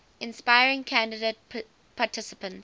inspiring candidate participants